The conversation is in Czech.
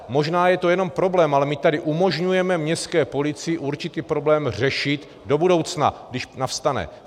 Možná je to jenom problém, ale my tady umožňujeme městské policii určitý problém řešit do budoucna, když nastane.